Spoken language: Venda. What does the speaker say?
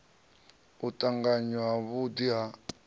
u tanganywa ha vhudi ha